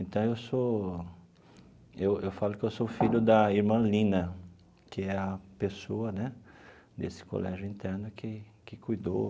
Então, eu sou eu eu falo que eu sou filho da irmã Lina, que é a pessoa né desse colégio interno que que cuidou.